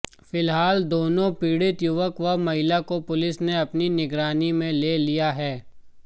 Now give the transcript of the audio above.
फिलहाल दोनों पीड़ित युवक व महिला को पुलिस ने अपनी निगरानी में ले लिया है